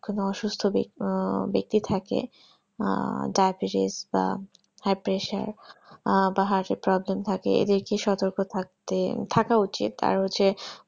কোনো অসুস্থ ব্যাক্তি আহ ব্যাক্তি থাকে dibetise বা high pressure এর heart এর problem থাকে এদেরকে সতর্ক থাকতে থাকা উচিত আর হচ্ছে